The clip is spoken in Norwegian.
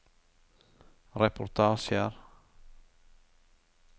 reportasjer